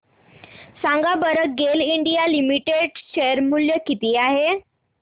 सांगा बरं GAIL India limited share मूल्य किती आहे